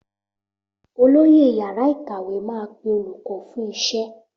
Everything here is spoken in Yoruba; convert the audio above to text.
Olóyè yàrá ìkàwé máa pe olùkọ́ fún iṣẹ́